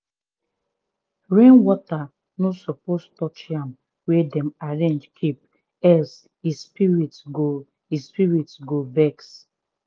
rainwater no suppose touch yam wey dem arrange keep else e spirit go spirit go vex.